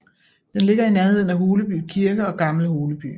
Den ligger i nærheden af Holeby Kirke og Gammel Holeby